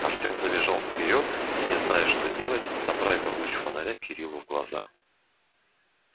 артём забежал вперёд и не зная что делать направил луч фонаря кириллу в глаза